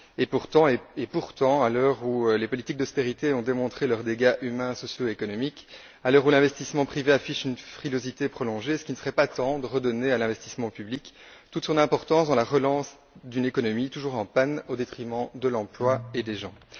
Pourtant, à l'heure où les politiques d'austérité ont démontré leurs dégâts humains et socio économiques, à l'heure où l'investissement privé affiche une frilosité prolongée, ne serait il pas temps de redonner à l'investissement public toute son importance dans la relance d'une économie toujours en panne au détriment de l'emploi et des gens?